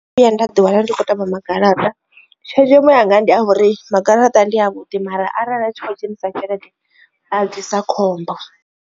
Ndono vhuya nda ḓi wana ndi kho tamba magaraṱa tshenzhemo yanga ndi a uri magaraṱa ndi a vhuḓi mara arali a tshi khou dzhenisa tshelede a ḓisa khombo.